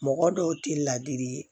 Mɔgɔ dɔw tɛ laadiri ye